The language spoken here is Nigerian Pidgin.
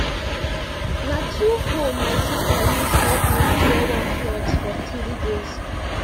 na two hoe my sister use help me clear one plot for 3 days